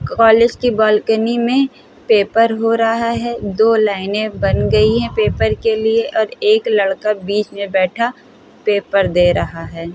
College की balcony मे paper हो रहा है। दो लाइने बन गयी हैं पेपर के लिए और एक लड़का बीच मे बैठा पेपर दे रहा हैं।